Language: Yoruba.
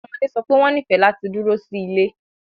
Awọn ọmọde sọ pe wọn nifẹ lati duro si ile